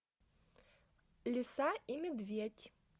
лиса и медведь